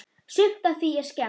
Sumt af því er skemmt.